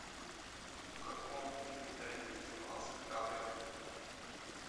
в каком фильме тарантино снимался ди каприо